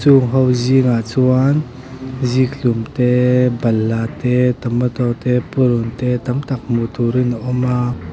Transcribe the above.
chung ho zingah chuan zikhlum te balhla te tomato te purun te tam tak hmuh turin a awm a.